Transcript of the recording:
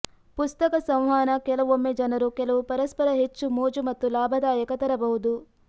ಪುಸ್ತಕ ಸಂವಹನ ಕೆಲವೊಮ್ಮೆ ಜನರು ಕೆಲವು ಪರಸ್ಪರ ಹೆಚ್ಚು ಮೋಜು ಮತ್ತು ಲಾಭದಾಯಕ ತರಬಹುದು